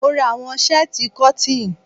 Mora àwọn shẹ́tíì cotton.